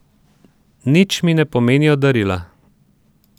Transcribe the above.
Nič mi ne pomenijo darila.